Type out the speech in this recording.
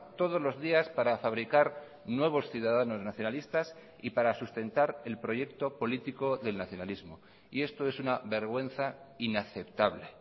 todos los días para fabricar nuevos ciudadanos nacionalistas y para sustentar el proyecto político del nacionalismo y esto es una vergüenza inaceptable